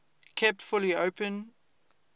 kept fully open